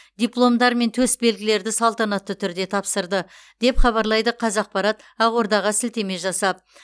дипломдар мен төс белгілерді салтанатты түрде тапсырды деп хабарлайды қазақпарат ақордаға сілтеме жасап